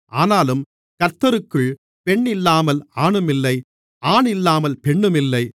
ஆனாலும் கர்த்தருக்குள் பெண்ணில்லாமல் ஆணுமில்லை ஆணில்லாமல் பெண்ணுமில்லை